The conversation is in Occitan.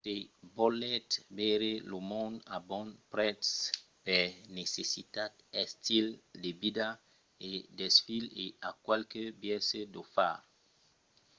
se volètz veire lo mond a bon prètz per necessitat estil de vida o desfís i a qualques biaisses d'o far